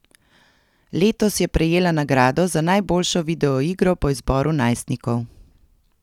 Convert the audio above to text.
Letos je prejela nagrado za najboljšo videoigro po izboru najstnikov.